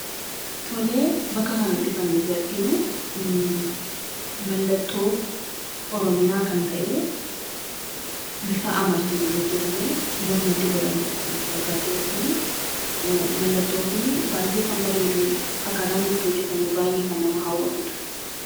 Tole. Bakka kanatti kan nuyi arginu, mallattoo oromiyaa kan ta'e, bifa amartiitin hojjetame mormatti godhamudha kan nuti argaa jirru kunii, mallattoon kun baay'ee kan bareedu. Akkaata inni itti hojjetame baay'ee kan nama hawwatudha.